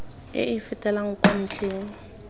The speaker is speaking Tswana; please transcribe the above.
e e fetelang kwa ntlheng